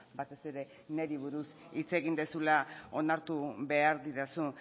batez ere niri buruz hitz egin duzula onartu behar didazu